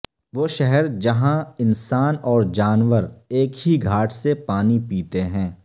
وہ شہر جہاں انسان اور جانور ایک ہی گھاٹ سے پانی پیتے ہیں